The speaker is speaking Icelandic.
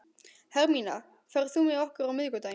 Hermína, ferð þú með okkur á miðvikudaginn?